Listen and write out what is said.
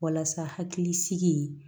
Walasa hakilisigi